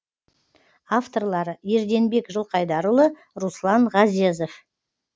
авторлары ерденбек жылқайдарұлы руслан ғазезов